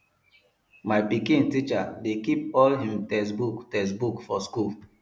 my pikin teacher dey keep all im textbook textbook for school